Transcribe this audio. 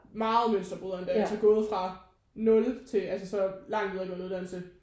Meget mønsterbrydere endda altså gået fra 0 til altså så lang videregående uddannelse